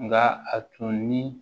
Nka a tun ni